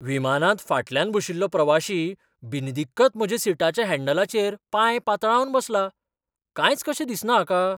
विमानांत फाटल्यान बशिल्लो प्रवाशी बिनदिक्कत म्हज्या सिटाच्या हँडलांचेर पाय पातळावन बसला. कांयच कशें दिसना हाका!